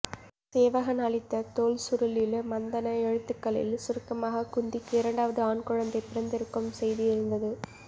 சேவகன் அளித்த தோல்சுருளில் மந்தண எழுத்துக்களில் சுருக்கமாக குந்திக்கு இரண்டாவது ஆண்குழந்தை பிறந்திருக்கும் செய்தி இருந்தது